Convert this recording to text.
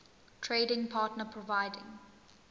trading partner providing